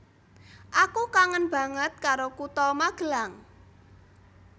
Aku kangen banget karo kuto Magelang